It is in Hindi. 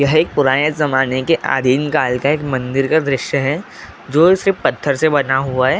यह एक पुराने जमाने के अधीन कल का एक मंदिर का दृश्य है जो सिर्फ पत्थर से बना हुआ है।